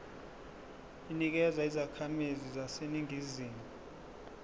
inikezwa izakhamizi zaseningizimu